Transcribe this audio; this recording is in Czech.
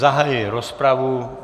Zahajuji rozpravu.